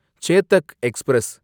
Chetak express